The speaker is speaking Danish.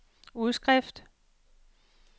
udskrift